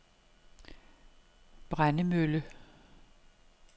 Brændemølle